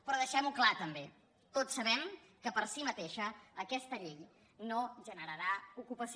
però deixem ho clar també tots sabem que per si mateixa aquesta llei no generarà ocupació